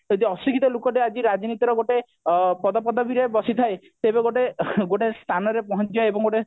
ଯଦି ଅଶିକ୍ଷିତ ଲୋକଟେ ଆଜି ଗୋଟେ ରାଜନୀତିରେ ଗୋଟେ ଆଁ ପଦପଦବି ରେ ବସିଥାଏ ତେବେ ଗୋଟେ ଗୋଟେ ସ୍ଥାନରେ ପହଞ୍ଚିବା ଏବଂ ଗୋଟେ